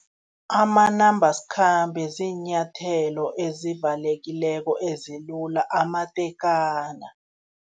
Amanambasikhambe ziinyathelo ezivalekileko ezilula amatekana.